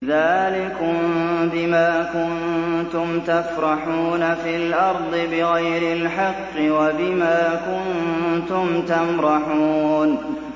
ذَٰلِكُم بِمَا كُنتُمْ تَفْرَحُونَ فِي الْأَرْضِ بِغَيْرِ الْحَقِّ وَبِمَا كُنتُمْ تَمْرَحُونَ